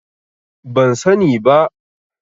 Ban sani ba.